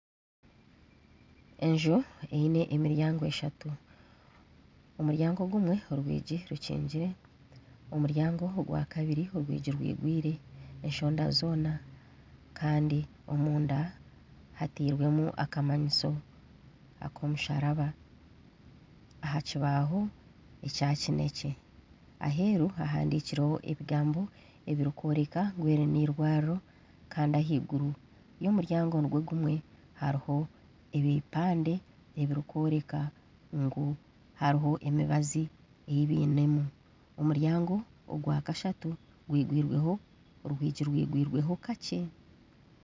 Enju eyine emiryango eshatu. Omu ryango gumwe orwigi rukingire, omuryango ogwa kabiri orwigi rwigwiire eshonda zoona Kandi omunda hatirwemu akamanyiso ak'omusharaba aha kibaho ekya kinekye. Aheru hahandikireho ebigambo ebirikworeka ngu eri nirwariro Kandi aheiguru yomuryango nigwo gumwe, hariho ebipande ebirikwereka ngu hariho emibazi eyi biine mu. Omuryango ogwa kashatu orwigi rwigwiirwe ho kakye.